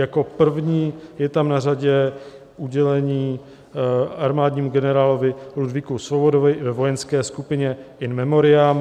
Jako první je tam na řadě udělení armádnímu generálovi Ludvíku Svobodovi ve vojenské skupině, in memoriam.